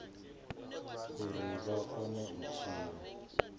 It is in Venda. uri vha kone u tshila